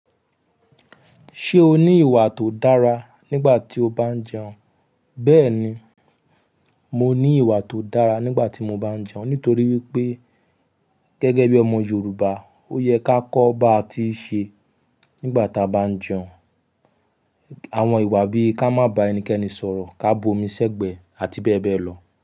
Ṣé o ní ìwà tó dára nígbà tí o bá ń jẹun? Bẹ́ẹ̀ni, mo ní ìwà tó dára nígbà tí mo bá ń jẹun. Nítorí wi pé gẹ́gẹ́ bí ọmọ Yorùbá, ó yẹ ká kọ́ bí a ti ń ṣe nígbà tí a bá jẹun. Àwọn ìwà bí ká má bá ẹnikẹ́ni sọ̀rọ̀, ká bù omi sí ẹ̀gbẹ́, àti bẹ́ẹ̀ bẹ́ẹ̀ lọ.